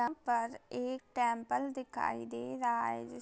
यहां पर एक टेम्पल दिखाई दे रहा हैं।